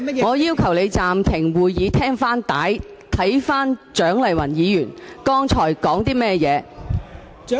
我要求你暫停會議，翻看錄影紀錄，聽聽蔣麗芸議員剛才的言詞。